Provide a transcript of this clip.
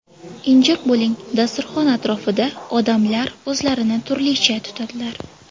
Injiq bo‘ling Dasturxon atrofida odamlar o‘zlarini turlicha tutadilar.